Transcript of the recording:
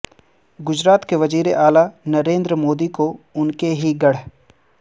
گجرات کے وزیر اعلی نریندر مودی کو ان کے ہی گڑھ